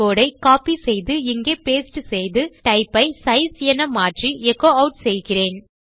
கோடை கோப்பி செய்து இங்கே பாஸ்டே செய்து டைப் ஐ சைஸ் என மாற்றி எச்சோ ஆட் செய்கிறேன்